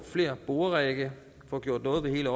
flere borerigge får gjort noget ved